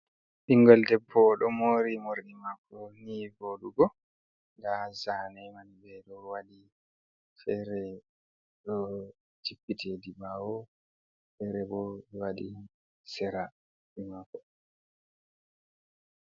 Ɓingel debbo ɗo moori morɗi maako nii voɗugo. Nda zane man ɓe ɗo waɗi fere ɗo jippiti hedi ɓawo. Fere bo waɗi Sera juɗe mako.